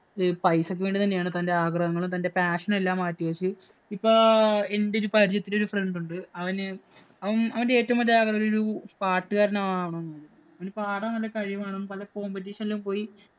പൈസയ്ക്ക് വേണ്ടി തന്നെയാണ്. തന്‍റെ ആഗ്രഹങ്ങളും, തന്‍റെ passion എല്ലാം മാറ്റിവച്ചു ഇപ്പൊ എന്‍റെ പരിചയത്തില്‍ ഒരു friend ഉണ്ട്. അവന് അവന്‍റെ ഏറ്റവും വലിയ ആഗ്രഹം അവനൊരു പാട്ടുകാരന്‍ ആവണം എന്ന്. അവന് പാടാന്‍ നല്ല കഴിവാണ്. പല competiion ഇലും പോയി